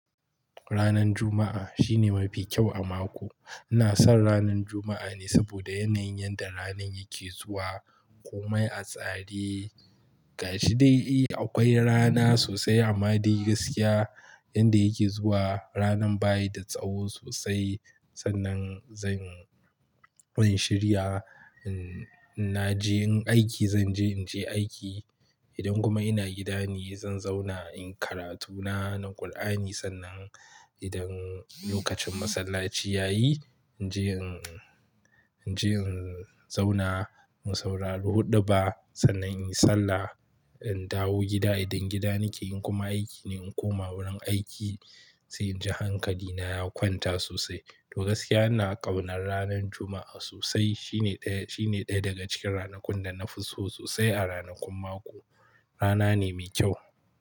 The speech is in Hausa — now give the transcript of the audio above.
Ranar Juma'a shine mafi kyau a mako. Ina son ranar Juma'a ne saboda yanayin yadda ranar yake zuwa. Komai a tsare gashi dai akwai rana sosai amma dai gaskiya yanda yake zuwa. Ranar bayi da tsawo sosai sannan zan shiriya. In naje in aiki zanje, inje aiki idan kuma ina gida ne zan zauna in karatu na, na Kur'ani. Sannan idan lokacin masallaci ya yi naje in naje in zauna in saurari huɗuba. Sannan in yi Sallah, in dawo gida idan gida nake in kuma aiki ne in koma wurin aiki sai inji hankalina ya kwanta sosai. To gaskiya ina ƙaunar ranar Juma'a sosai. Shine ɗaya, shine ɗaya daga cikin ranakun da na fi so sosai a ranakun mako. Rana ne mai kyau.